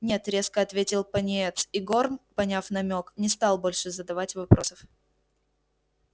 нет резко ответил пониетс и горм поняв намёк не стал больше задавать вопросов